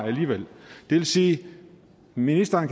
alligevel det vil sige at ministeren